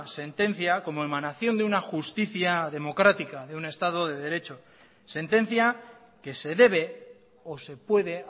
sentencia como emanación de una justicia democrática de un estado de derecho sentencia que se debe o se puede